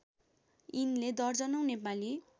यिनले दर्जनौँ नेपाली